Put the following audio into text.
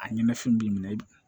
A ɲɛna fɛn b'i minɛ